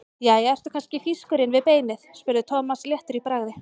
Jæja, ertu kannski þýskur inni við beinið? spurði Thomas léttur í bragði.